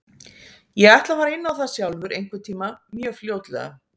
Ég ætla að fara inn á það sjálfur einhvern tíma mjög fljótlega.